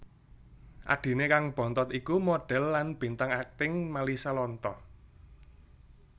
Adhiné kang bontot iku modhèl lan bintang akting Malisa Lontoh